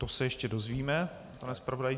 To se ještě dozvíme, pane zpravodaji.